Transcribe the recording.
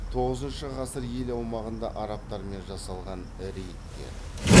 тоғызыншы ғасыр ел аумағында арабтармен жасалған рейдтер